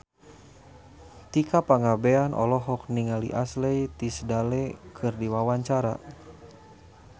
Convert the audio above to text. Tika Pangabean olohok ningali Ashley Tisdale keur diwawancara